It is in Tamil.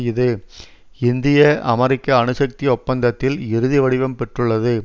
இது இந்திய அமெரிக்க அணுசக்தி ஒப்பந்தத்தில் இறுதி வடிவம் பெற்றுள்ளத